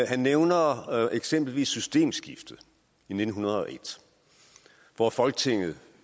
han nævner eksempelvis systemskiftet i nitten hundrede og en hvor folketinget